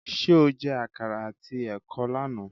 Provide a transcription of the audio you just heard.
Ṣé o jẹ àkàrà àti ẹ̀kọ lánàá?